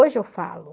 Hoje eu falo.